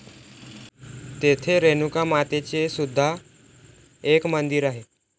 तेथे रेणुका मातेचे सुद्धा एक मंदिर आहे.